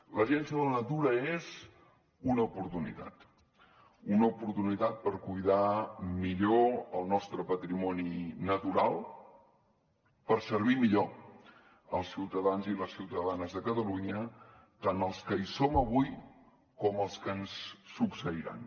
l’agència de la natura és una oportunitat una oportunitat per cuidar millor el nostre patrimoni natural per servir millor els ciutadans i les ciutadanes de catalunya tant els que hi som avui com els que ens succeiran